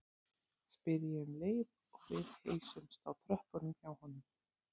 spyr ég um leið og við heilsumst á tröppunum hjá honum.